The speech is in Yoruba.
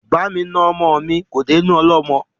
Bá mi na ọmọ mi kò dénú ọlọ́mọ